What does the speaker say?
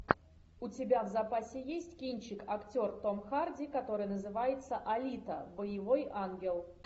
у тебя в запасе есть кинчик актер том харди который называется алита боевой ангел